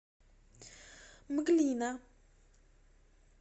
мглина